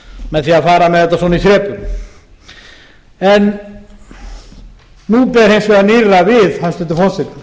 með því að fara með þetta svona í þrepum en nú ber hins vegar nýrra við hæstvirtur forseti